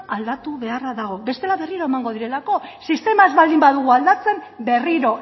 aldatu beharra dago bestela berriro emango dira sistema ez baldin badugu aldatzen berriro